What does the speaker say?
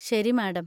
ശരി മാഡം.